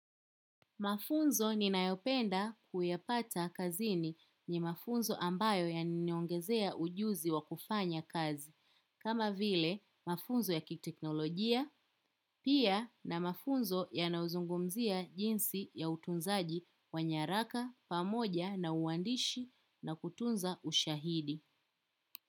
Mafunzo ninayopenda kuyapata kazini ni mafunzo ambayo yana niongezea ujuzi wa kufanya kazi. Kama vile mafunzo ya kiteknolojia, pia na mafunzo yanayozungumzia jinsi ya utunzaji wa nyaraka pamoja na uandishi na kutunza ushaidi.